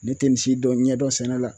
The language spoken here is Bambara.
Ne te nin si dɔn ɲɛdɔn sɛnɛ la